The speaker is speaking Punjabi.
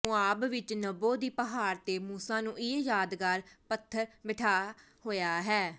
ਮੋਆਬ ਵਿਚ ਨਬੋ ਦੀ ਪਹਾੜ ਤੇ ਮੂਸਾ ਨੂੰ ਇਹ ਯਾਦਗਾਰ ਪੱਥਰ ਬੈਠਾ ਹੋਇਆ ਹੈ